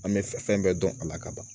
An bɛ fɛn bɛɛ dɔn a la ka ban